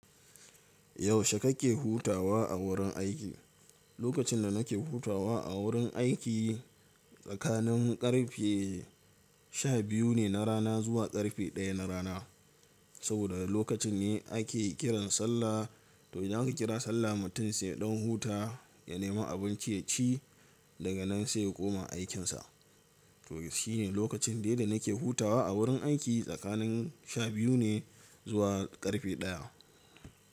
Yaushe kake hutawa a wurin aiki? Lokacin da nake hutawa a wurin aiki tsakanin ƙarfe sha biyu ne na rana zuwa ƙarfe ɗaya na rana. Saboda lokacin ne ake kiran sallah. To idan aka kira sallah mutum sai ya ɗan huta, ya nemi abinci ya ci daga nan sai ya koma aikinsa. To shi ne lokacin daida nake hutawa a wurin aiki tsakanin sha biyu ne zuwa ƙarfe ɗaya.